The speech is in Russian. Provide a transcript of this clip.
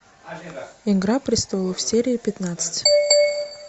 игра престолов серия пятнадцать